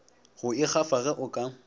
go ikgafa ge o ka